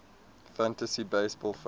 fantasy baseball fans